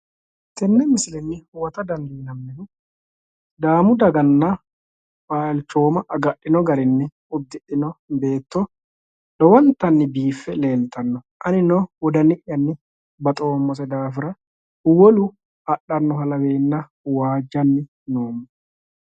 tenne misilenni huwata dandiinanihu sidaamu daganna balchooma agadhino garinni uddidhino beetto lowontanni biiffe leeltanno anino wodani'yanni baxoommo daafira wolu adhano yee waajjani noomo.